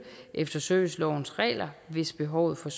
efter servicelovens regler hvis behovet for